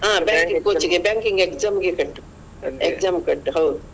ಹ banking coaching ಗೆ banking ಗೆ exam ಗೆ ಕಟ್ಟು exam ಗೆ ಕಟ್ಟು ಹೌದು.